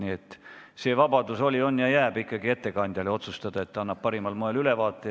Nii et see vabadus oli, on ja jääb ikkagi ettekandja otsustada, et ta annab ülevaate parimal moel.